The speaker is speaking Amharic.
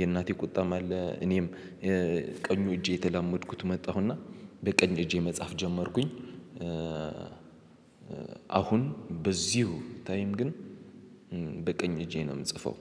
የእናቴ ቁጣም አለ እኔም ቀኙ እጄ የተላመድኩት መጣሁና በቀኝ እጄ መጻፍ ጀመርኩኝ። አሁን በዚሁ ታይም ግን በቀኝ እጄ ነው የምጽፈው።